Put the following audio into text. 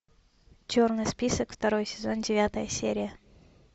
черный список второй сезон девятая серия